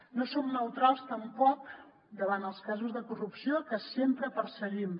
no som neutrals tampoc davant els casos de corrupció que sempre perseguim